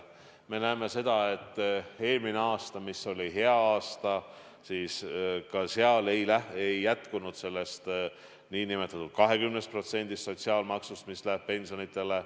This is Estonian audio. Me näeme seda, et ka eelmisel aastal, mis oli hea aasta, ei jätkunud sellest nn 20%-st sotsiaalmaksust, mis läheb pensionideks.